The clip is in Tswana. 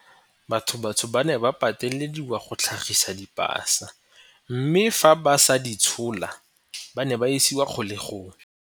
Batho bantsho ba ne ba patelediwa go tlhagisa dipasa mme fa ba sa di tshola, ba ne ba isiwa kgolegelong.